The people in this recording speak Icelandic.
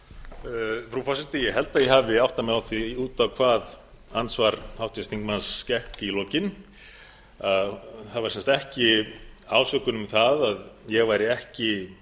frú forseti ég held að ég hafi áttað mig á því út á hvað andsvar háttvirts þingmanns gekk í lokin það var sem sagt ekki ásökun um það að ég væri ekki